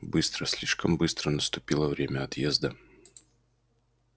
быстро слишком быстро наступило время отъезда